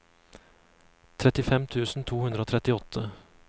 trettifem tusen to hundre og trettiåtte